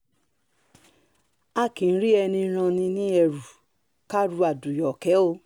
a kì í rí ẹni ràn ní lẹ́rù ká ru adúyókè o